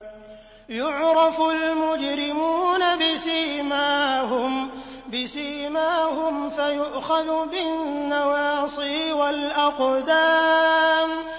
يُعْرَفُ الْمُجْرِمُونَ بِسِيمَاهُمْ فَيُؤْخَذُ بِالنَّوَاصِي وَالْأَقْدَامِ